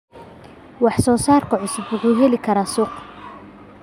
Wax soo saarka cusub wuxuu heli karaa suuq.